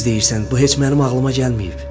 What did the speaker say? Düz deyirsən, bu heç mənim ağlıma gəlməyib.